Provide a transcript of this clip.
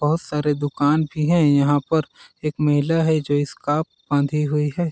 बहुत सारे दुकान भी है यहाँ पर एक महिला है जो स्क्राफ बांधी हुई है।